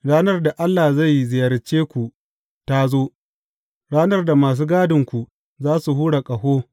Ranar da Allah zai ziyarce ku ta zo, ranar da masu gadinku za su hura ƙaho.